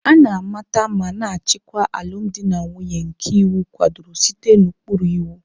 A na-amata ma na-achịkwa alụmdi na nwunye nke iwu kwadoro site n'ụkpụrụ iwu.